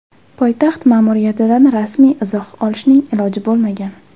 Poytaxt ma’muriyatidan rasmiy izoh olishning iloji bo‘lmagan.